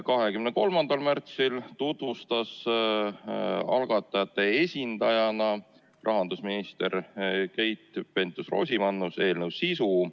23. märtsil tutvustas algatajate esindaja, rahandusminister Keit Pentus-Rosimannus eelnõu sisu.